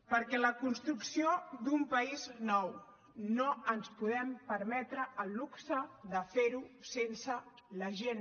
perquè la construcció d’un país nou no ens podem permetre el luxe de fer la sense la gent